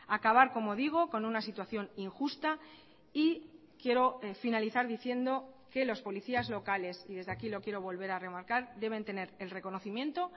acabar como digo con una situación injusta y quiero finalizar diciendo que los policías locales y desde aquí lo quiero volver a remarcar deben tener el reconocimiento